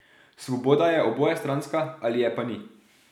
Svoboda je obojestranska ali je pa ni.